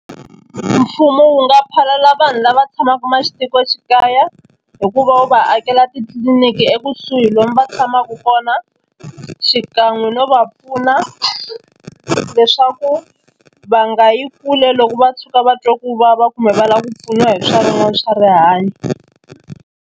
Mfumo wu nga phalala vanhu lava tshamaka matikoxikaya hi ku va wu va akela titliliniki ekusuhi lomu va tshamaku kona xikan'we no va pfuna leswaku va nga yi kule loko va tshuka va twa ku vava kumbe va lava ku pfuniwa hi swa swa rihanyo.